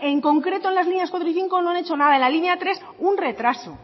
en concreto en las líneas cuatro y cinco no han hecho nada en la línea tres un retraso